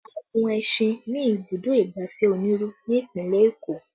A gun ẹṣin ní ibùdó ìgbafẹ́ Oniru ní Ìpínlẹ̀ Eko